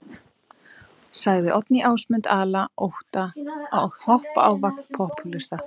Sagði Oddný Ásmund ala á ótta og hoppa á vagn popúlista.